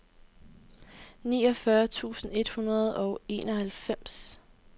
niogfyrre tusind et hundrede og enoghalvfems